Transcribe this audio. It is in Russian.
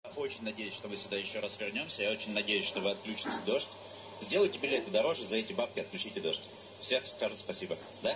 я очень надеюсь что мы ещё сюда ещё раз вернёмся и я очень надеюсь что вы отключите дождь сделайте билеты дороже и за эти бабки отключите дождь все скажут спасибо да